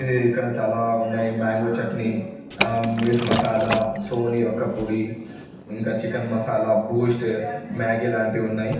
ఇది ఇక్కడ చాలా ఉన్నాయి మ్యాంగో చట్నీ ఆ మీట్ మసాలా సోనీ వాక్కపోడి ఇంకా చికెన్ మసాలా బూస్ట్ మ్యాగీ లాంటివి ఉన్నాయి.